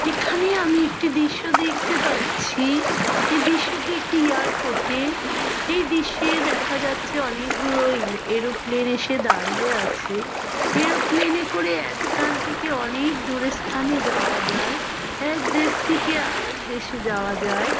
এখানে আমি একটি দৃশ্য দেখতে পাচ্ছিই এই দৃশ্যটি একটি এয়ারপোর্ট - এর । এই দৃশ্যে দেখা যাচ্ছে অনেক গুলো এল এরোপ্লেন এসে দাঁড়িয়ে আছে । এরোপ্লেনে করে এক স্থান থেকে অনেক দুরের স্থানে যাওয়া যায় । এক দেশ থেকে আর এক দেশে যায় যায় ।